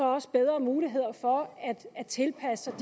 også bedre muligheder for at tilpasse